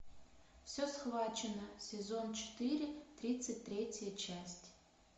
все схвачено сезон четыре тридцать третья часть